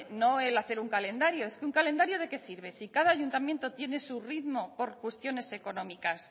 no el hacer un calendario es que un calendario de qué sirve si cada ayuntamiento tiene su ritmo por cuestiones económicas